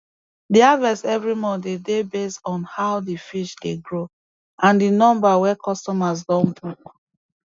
the harvest evri month de dey based on how di fish dey grow and di number wey customers don book